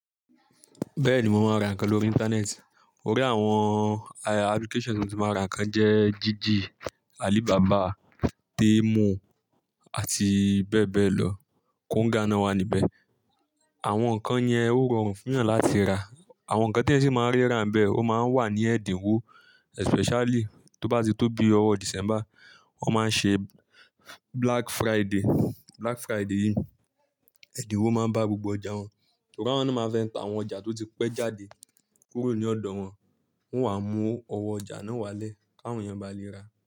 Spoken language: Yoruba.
Bẹ́ẹ̀ni mo máa ń ra ǹkan lórí internet o rí àwọn applications tí mo ti máa ń ra ǹkan jẹ́ Jiji, Alibaba, Temu àti bẹ́ẹ̀ bẹ́ẹ̀ lọ. Konga náà wà níbẹ̀. Àwọn ǹkan yẹn ó rọrùn fún yàn láti ra. Àwọn ǹkan tí yàn sì máa ń rí ra ń bẹ̀, ó máa ń wà ní ẹ̀dínwó especially tó bá ti tó bí ọwọ́ December, wọ́n máa ṣe Black Friday. Black Friday yìí, ẹ̀dínwó máa ń bá gbogbo ọjà wọn. Sùgón àwọn náà máa fẹ́ ta àwọn ọjà tó ti pẹ́ jáde kúrò ní ọ̀dọ̀ wọn, wọ́n wá mú ọwọ́ ọjà náà wálé káwọn èèyàn ba lè ra.